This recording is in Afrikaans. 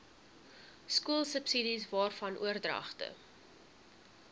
skoolsubsidies waarvan oordragte